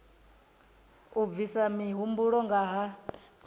u bvisa mihumbulo nga ha